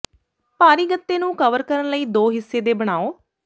ਭਾਰੀ ਗੱਤੇ ਨੂੰ ਕਵਰ ਕਰਨ ਲਈ ਦੋ ਹਿੱਸੇ ਦੇ ਬਣਾਉ